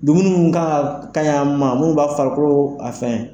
Dumuni min ka ɲ'a ma minnu b'a farikolo a